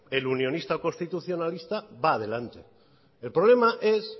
el unionista o el constitucionalista va delante el problema es